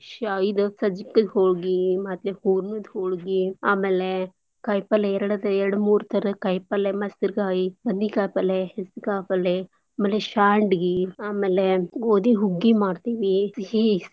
ಶಾ~ ಇದ್ ಸಜ್ಗದ್ ಹೋಳ್ಗೀ, ಮತ್ತೆ ಹೂರ್ಣದ್ ಹೋಳ್ಗೀ, ಆಮೇಲೇ ಕಾಯ್ಪಲ್ಯೆ ಎರಡದ್ ಎರಡ್ ಮೂರ್ ತರ ಕಾಯ್ಪಲ್ಯೆ ಮಸರ್ಗಾಯಿ ಬದ್ನೀಕಾಯ್ ಪಲ್ಲೆ, ಹೆಸ್ರ್ಕಾಳ್ ಪಲ್ಲೆ, ಅಮೆಲೆ ಶಾಂಡ್ಗೀ, ಅಮೆಲೇ ಗೋದಿಹುಗ್ಗಿ ಮಾಡ್ತೀವಿ ಸಿಹಿ.